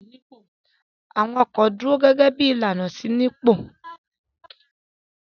Àwọn ọkọ̀ dúró gẹ́gẹ́ bí ìlànà ìṣínípò.